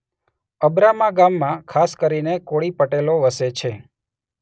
અબ્રામા ગામમાં ખાસ કરીને કોળી પટેલો વસે છે.